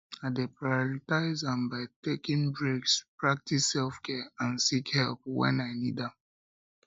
i dey prioritize am by taking breaks practice selfcare and seek help when i need am